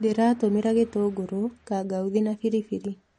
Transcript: Ndĩratũmĩra gĩtũngũr, kangauthi, na biribiri.